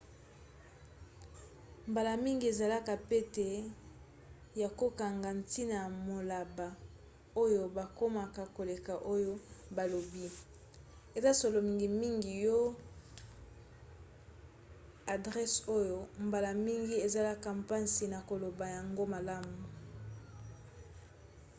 mbala mingi ezalaka pete ya kokanga ntina ya maloba oyo bakoma koleka oyo balobi. eza solo mingimingi po ya ba adrese oyo mbala mingi ezalaka mpasi na koloba yango malamu